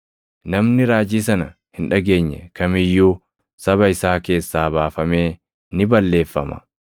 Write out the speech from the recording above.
Namni raajii sana hin dhageenye kam iyyuu saba isaa keessaa baafamee ni balleeffama.’ + 3:23 \+xt KeD 18:15,18,19\+xt*